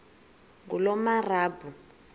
ngulomarabu